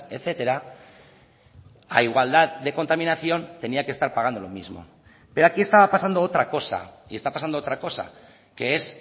etcétera a igualdad de contaminación tenía que estar pagando lo mismo pero aquí estaba pasando otra cosa y está pasando otra cosa que es